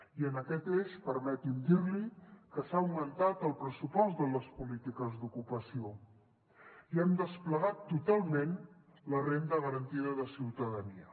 i en aquest eix permeti’m dir li que s’ha augmentat el pressupost de les polítiques d’ocupació i hem desplegat totalment la renda garantida de ciutadania